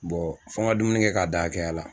fɔ n ka dumuni kɛ k'a dan hakɛya la.